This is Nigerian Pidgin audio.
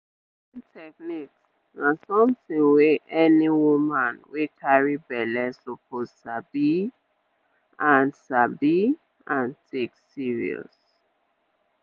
breastfeeding techniques na something wey any woman wey carry belle suppose sabi and sabi and take serious.